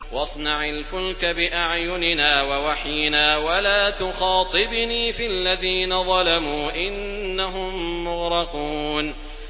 وَاصْنَعِ الْفُلْكَ بِأَعْيُنِنَا وَوَحْيِنَا وَلَا تُخَاطِبْنِي فِي الَّذِينَ ظَلَمُوا ۚ إِنَّهُم مُّغْرَقُونَ